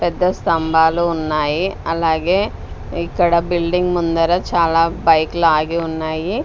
పెద్ద స్తంభాలు ఉన్నాయి అలాగే ఇక్కడ బిల్డింగ్ ముందర చాలా బైక్ లు ఆగి ఉన్నాయి.